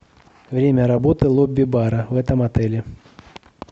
время работы лобби бара в этом отеле